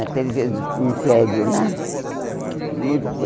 Até ele fez um prédio lá.